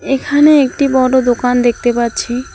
এখানে একটি বড় দোকান দেখতে পাচ্ছি।